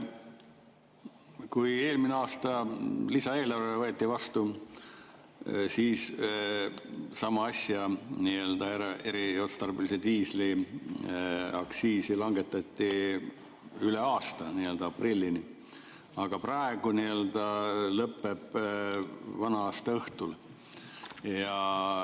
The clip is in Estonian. Kui eelmine aasta lisaeelarve võeti vastu, siis sama asja, eriotstarbelise diisli aktsiisi, langetati üle aasta, aprillini, aga praegu see lõpeb vana-aastaõhtul.